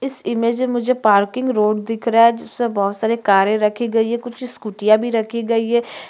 इस इमेज में मुझे पार्किंग रोड दिख रहा है जिसमें बहुत सारी कारें रखी गई है कुछ स्कुटियाँ भी रखी गई है।